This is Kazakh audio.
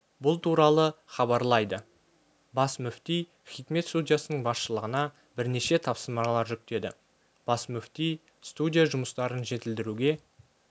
бұл туралы хабарлайды бас мүфти хикмет студиясының басшылығына бірнеше тапсырмалар жүктеді бас мүфти студия жұмыстарын жетілдіруге